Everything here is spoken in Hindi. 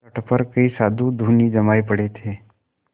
तट पर कई साधु धूनी जमाये पड़े थे